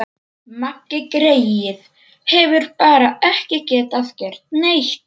Maggi greyið hefur bara ekki getað gert neitt.